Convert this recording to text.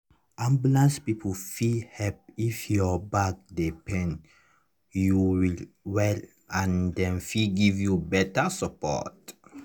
ambulance people fit help if your back dey pain you well well and dem fit give you better support.